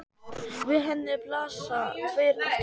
Við henni blasa tveir aftur endar.